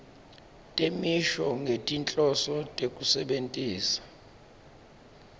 temisho ngetinhloso tekusebentisa